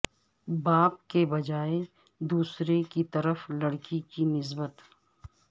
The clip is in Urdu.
باپ کے بجائے دوسرے کی طرف لڑکی کی نسبت